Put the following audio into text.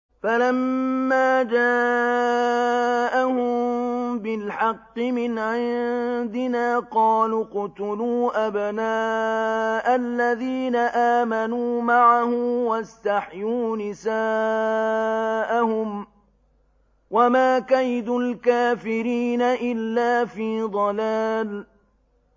فَلَمَّا جَاءَهُم بِالْحَقِّ مِنْ عِندِنَا قَالُوا اقْتُلُوا أَبْنَاءَ الَّذِينَ آمَنُوا مَعَهُ وَاسْتَحْيُوا نِسَاءَهُمْ ۚ وَمَا كَيْدُ الْكَافِرِينَ إِلَّا فِي ضَلَالٍ